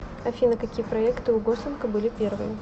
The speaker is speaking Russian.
афина какие проекты у гослинга были первые